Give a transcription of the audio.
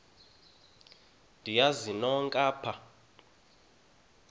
niyazi nonk apha